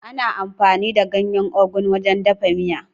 Ana amfani da ganyen Ugu wajen dafa miya.